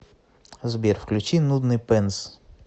сбер включи нудный пенс